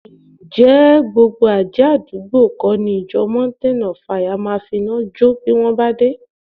Ǹjẹ́ gbogbo àjẹ́ àdúgbò kọ́ ni ìjọ Mountain of Fire máa finá jọ́ bí wọn bá dé